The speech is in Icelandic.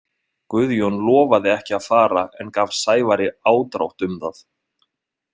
Guðjón lofaði ekki að fara en gaf Sævari ádrátt um það.